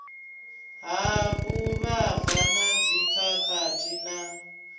ha vhuvhava na dzikhakhathi na